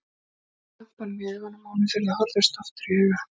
Sá glampann í augunum á honum þegar þau horfðust aftur í augu.